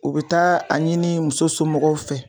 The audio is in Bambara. U bi taa a ɲini muso somɔgɔw fɛ